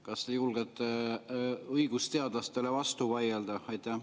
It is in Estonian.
Kas te julgete õigusteadlastele vastu vaielda?